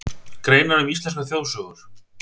Greinar um íslenskar þjóðsögur.